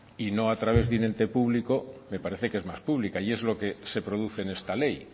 y no a través de un ente público me parece que es más pública y es lo que se produce en esta ley